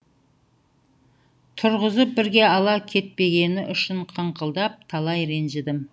тұрғызып бірге ала кетпегені үшін қыңқылдап талай ренжідім